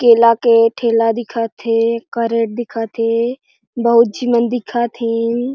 केला के ठेला दिखत हे करेट दिखत हे बहुत झी मन दिखत हें --